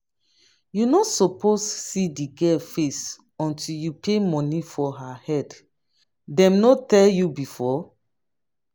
you no suppose see the girl face until you pay money for her head dem no tell you before?